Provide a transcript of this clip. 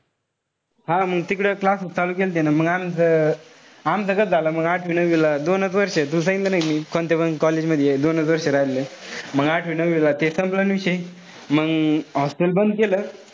हा मंग तिकडं classes केले त्यानं. मंग आमचं आमचं कस झालं मंग आठवी-नववीला दोन वर्ष, तुला सांगितलं नाई का मी. कोणत्यापन college मधी एक-दोनच वर्ष राहिलो. मंग आठवी-नववीला ते संपला ना विषय. मंग hostel बंद केलं.